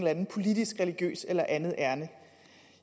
andet politisk religiøst eller andet ærinde